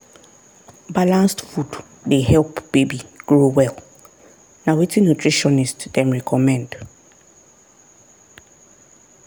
balanced food dey help baby grow well na wetin nutritionist dem recommend.